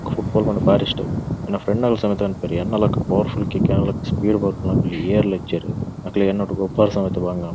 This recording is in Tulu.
ಫುಟ್ಬಾಲ್ ಪಂಡ ಬಾರಿ ಇಷ್ಟ ಯೆನ್ನ ಫ್ರೆಂಡ್ ನಕುಲ್ ಸಮೇತ ಪನ್ಪೆರ್ ಯನ್ನ ಲೆಕ್ಕ ಪವರ್ಫುಲ್ ಕಿಕ್ ಯೆನ್ನ ಲೆಕ್ಕ ಸ್ಪೀಡ್ ಬಲಿಪುನಕುಲು ಯೇರ್ಲಾ ಇಜ್ಜೆರ್ ಅಕಲೆಗ್ ಯೆನ್ನ ಒಟ್ಟುಗ್ ಗೊಬ್ಬೆರೆ ಸಮೇತ ಬಂಗ ಅಪುಡ್.